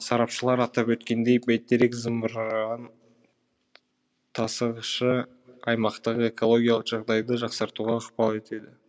сарапшылар атап өткендей бәйтерек зымыран тасығышы аймақтағы экологиялық жағдайды жақсартуға ықпал етеді